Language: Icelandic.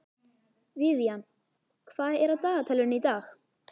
Vivian, hvað er á dagatalinu í dag?